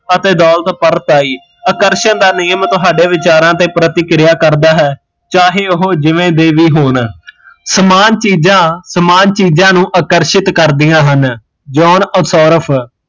ਅਤੇ ਦੋਲਤ ਆਕਰਸ਼ਣ ਦਾ ਨਿਯਮ ਤੁਹਾਡੇ ਵਿਚਾਰਾਂ ਤੇ ਪ੍ਰਤੀਕ੍ਰਿਆ ਕਰਦਾ ਹੈ ਚਾਹੇ ਓਹ ਜਿਵੇ ਦੇ ਵੀ ਹੋਣ, ਸਮਾਨ ਚੀਜ਼ਾਂ ਸਮਾਨ ਚੀਜ਼ਾਂ ਨੂ ਆਕਰਸ਼ਿਤ ਕਰਦੀਆ ਹਨ ਜੋਨ ਅਸਾਰਫ